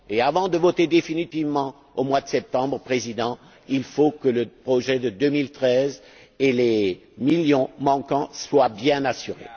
Et, avant de voter définitivement au mois de septembre, Monsieur le Président, il faut que le projet de 2013 et les millions manquants soient bien assurés.